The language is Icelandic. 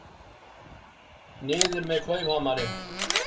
Niður með klaufhamarinn!